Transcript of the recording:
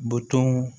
Butɔnw